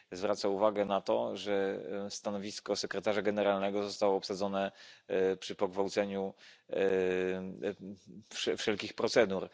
Zwraca uwagę na to, że stanowisko sekretarza generalnego zostało obsadzone przy pogwałceniu wszelkich procedur.